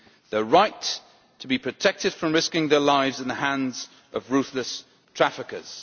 their right to be protected from risking their lives in the hands of ruthless traffickers